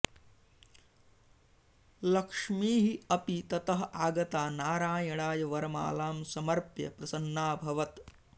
लक्ष्मीः अपि ततः आगता नारायणाय वरमालां समर्प्य प्रसन्नाभवत्